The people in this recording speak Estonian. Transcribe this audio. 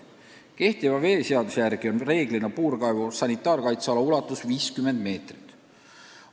Kehtiva veeseaduse järgi on reeglina puurkaevu sanitaarkaitseala ulatus 50 meetrit.